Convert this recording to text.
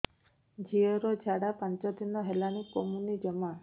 ଝିଅର ଝାଡା ପାଞ୍ଚ ଦିନ ହେଲାଣି କମୁନି ଜମା